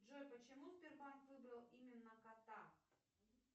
джой почему сбербанк выбрал именно кота